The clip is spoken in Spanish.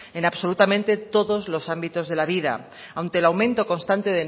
en absolutamente todos los ámbitos de la vida ante el aumento constante